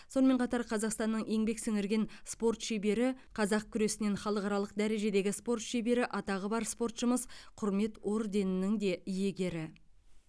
сонымен қатар қазақстанның еңбек сіңірген спорт шебері қазақ күресінен халықаралық дәрежедегі спорт шебері атағы бар спортшымыз құрмет орденінің де иегері